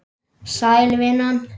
Sæl, vinan.